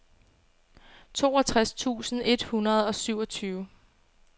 toogtres tusind et hundrede og syvogtyve